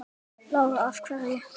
Lára: Af hverju?